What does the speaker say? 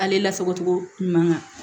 Ale lasago cogo ɲuman kan